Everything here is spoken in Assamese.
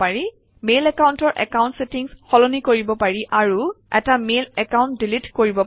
মেইল একাউণ্টৰ একাউণ্ট চেটিংচ সলনি কৰিব পাৰি আৰু এটা মেইল একাউণ্ট ডিলিট কৰিব পৰি